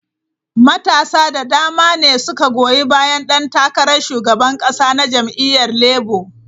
Matasa da dama ne suka goyi bayan dan takarar shugaban kasa na jam'iyyar Labour.